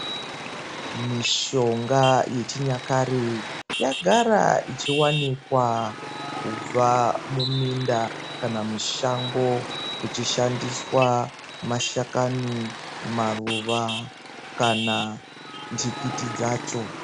Mishonga yechinyakare yagara ichhiwanikwa kubva muminda kana kuti mushango kuchishandiswa mashakani maruva kana ndikiti dzacho.